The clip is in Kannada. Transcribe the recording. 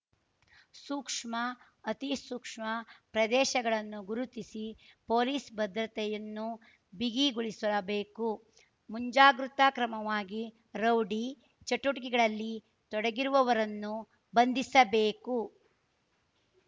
ಸೂಕ್ಷ್ಮ ಅತಿ ಸೂಕ್ಷ್ಮ ಪ್ರದೇಶಗಳನ್ನು ಗುರುತಿಸಿ ಪೊಲೀಸ್ ಭದ್ರತೆಯನ್ನು ಬಿಗಿಗೊಳಿಸಬೇಕು ಮುಂಜಾಗ್ರುತಾ ಕ್ರಮವಾಗಿ ರೌಡಿ ಚಟುವಟಿಕೆಗಳಲ್ಲಿ ತೊಡಗಿರುವವರನ್ನು ಬಂಧಿಸಬೇಕು